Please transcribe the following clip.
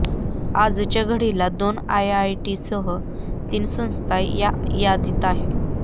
आजच्या घडीला दोन आयआयटीसह तीन संस्था या यादीत आहेत